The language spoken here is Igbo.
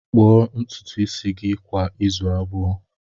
Kpuo ntutu isi gị kwa izu abụọ!